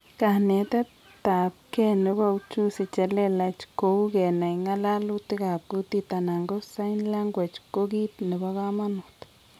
Kanetet ab gee nebo ujuzi chelelach kou kenai ngalalutik ab kutit anan ko sign language ko kiit nebo kamanut